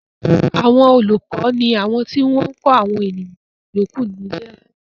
Àwọn olùkọ ni àwọn tí wọ́n ń kọ́ àwọn ènìyàn yòókù ní ilé ẹ̀kọ́